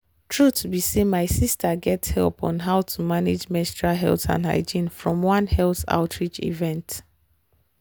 truth be say my sister get help on how to manage menstrual health and hygiene from one health outreach event.